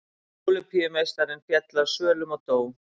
Ólympíumeistarinn féll af svölum og dó